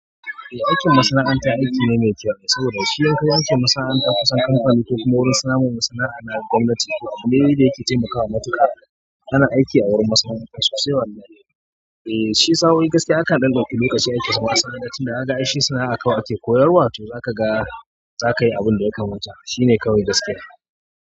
Eh aikin masana'anta aiki ne mai kyau sabo da. Shi yankawo aikin masana'anta kusan kanfani kuma wurin samun masana'anta na da gwamnati to abune dai da yake taimakawa matuƙa. Kana aiki a wurin masana'anta sosai wallahi. Eh shi sa'oi gaskiya akan ɗan ɗauki lokaci aicin masana'anta tinda kaga aishi sana'a ake koyarwa to zaka ga. Zaka yi abin da yaka mata shi ne kawai gaskiya.